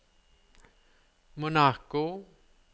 Monaco